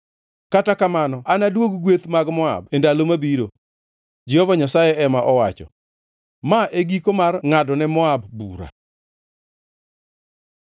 “Kata kamano anaduog gweth mag Moab e ndalo mabiro,” Jehova Nyasaye ema owacho. Ma e giko mar ngʼadone Moab bura.